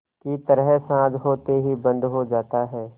की तरह साँझ होते ही बंद हो जाता है